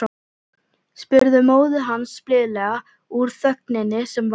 spurði móðir hans blíðlega úr þögninni sem varð.